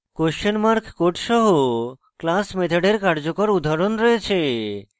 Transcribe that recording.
question mark code সহ class মেথডের কার্যকর উদাহরণ রয়েছে